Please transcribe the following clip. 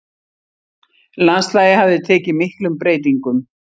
Landslagið hafði tekið miklum breytingum.